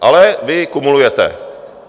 Ale vy kumulujete.